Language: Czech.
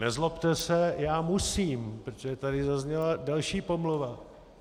Nezlobte se, já musím, protože tady zazněla další pomluva.